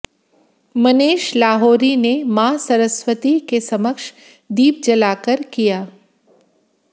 मनेश लाहोरी ने मां सरस्वती के समक्ष दीप जलाकर किया